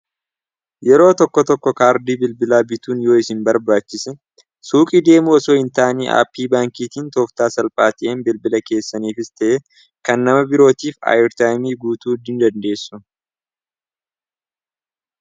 yeroo tokko tokko kaardii bilbilaa bituun yoo isin barbaachise suuqii deemuosoo hin taanii aapii baankiitiin tooftaa salphaati'een bilbila keessaniif ista'e kan nama birootiif ayirtaayimii guutuui dandeessu